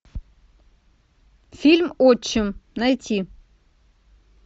фильм отчим найти